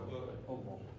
Allah.